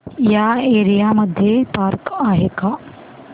या एरिया मध्ये पार्क आहे का